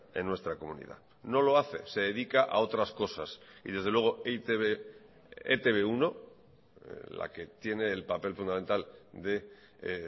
en nuestra comunidad no lo hace se dedica a otras cosas y desde luego e i te be e te be uno la que tiene el papel fundamental de